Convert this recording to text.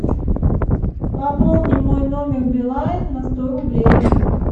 пополни мой номер билайн на сто рублей